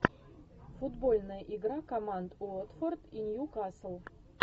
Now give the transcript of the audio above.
футбольная игра команд уотфорд и ньюкасл